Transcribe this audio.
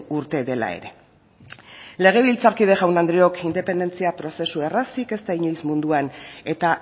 urte dela ere legebiltzarkide jaun andreok independentzia prozesu errazik ez da inoiz munduan eta